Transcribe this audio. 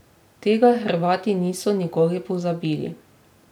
Tega Hrvati niso nikoli pozabili.